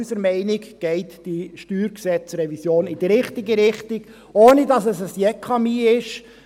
Unserer Meinung nach geht diese StG-Revision also in die richtige Richtung, ohne dass es ein Jekami ist.